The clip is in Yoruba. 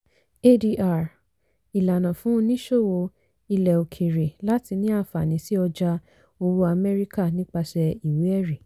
adr - ìlànà fún oníṣòwò ilẹ̀-òkèèrè láti ní àǹfààní sí ọjà owó amẹ́ríkà nipasẹ̀ ìwé-ẹ̀rí.